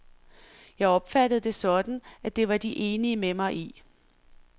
Jeg opfattede det sådan, at det var de enige med mig i.